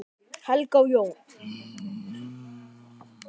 Helga og Jón.